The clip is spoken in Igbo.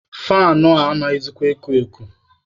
Faanụ a anaghịzịkwa eku elu.